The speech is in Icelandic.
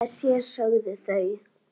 Hugsa sér, sögðu þau.